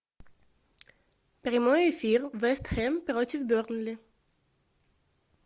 прямой эфир вест хэм против бернли